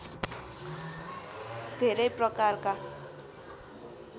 धेरै प्रकारका